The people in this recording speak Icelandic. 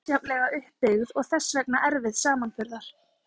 Tungumál eru afar misjafnlega upp byggð og þess vegna erfið samanburðar.